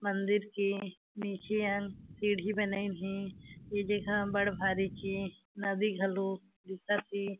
मंदिर के नीचे अंग सीढ़ी बनाइन हे ये जगह बढ़ भारी के नदी घालो दिखत हे।